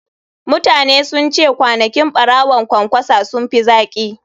Mutane sun ce kwanakin ɓawon ƙwanƙwasa sun fi zaƙi.